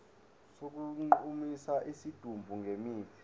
sokugqumisa isidumbu ngemithi